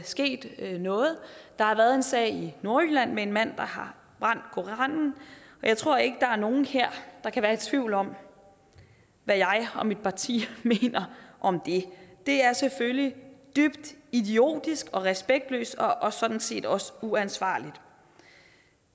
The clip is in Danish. sket noget der har været en sag i nordjylland med en mand der har brændt koranen jeg tror ikke der er nogen her der kan være i tvivl om hvad jeg og mit parti mener om det det er selvfølgelig dybt idiotisk og respektløst og sådan set også uansvarligt